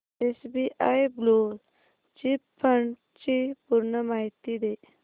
SBI blue chip fund ची पूर्ण माहिती दे